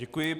Děkuji.